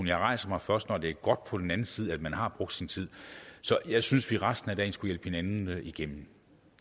jeg rejser mig først når det er godt på den anden side af at man har brugt sin tid så jeg synes at vi resten af dagen skulle hjælpe hinanden igennem